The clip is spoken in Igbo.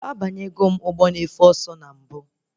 Abanyegom ụgbọ na efe ọsọ na mbụ